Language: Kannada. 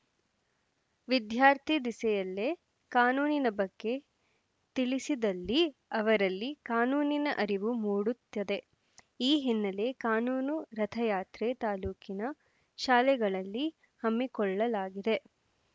ವಿದ್ಯಾರ್ಥಿ ದಿಸೆಯಲ್ಲೆ ಕಾನೂನಿನ ಬಗ್ಗೆ ತಿಳಿಸಿದಲ್ಲಿ ಅವರಲ್ಲಿ ಕಾನೂನಿನ ಅರಿವು ಮೂಡುತ್ತದೆ ಈ ಹಿನ್ನೆಲೆ ಕಾನೂನು ರಥಯಾತ್ರೆ ತಾಲೂಕಿನ ಶಾಲೆಗಳಲ್ಲಿ ಹಮ್ಮಿಕೊಳ್ಳಲಾಗಿದೆ